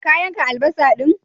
Ka yanka albasa din?